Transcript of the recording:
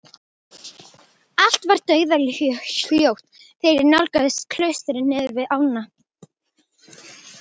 Allt var dauðahljótt þegar ég nálgaðist klaustrið niður hlíðina.